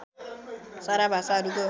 सारा भाषाहरूको